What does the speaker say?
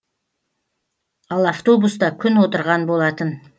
ал автобуста күн отырған болатын